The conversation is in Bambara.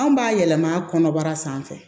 Anw b'a yɛlɛma kɔnɔbara sanfɛ